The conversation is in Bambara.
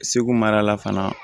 Segu mara la fana